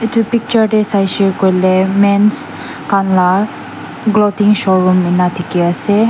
etu picture tae saikey koiley mans khan laga cloting showroom enika dekhi ase.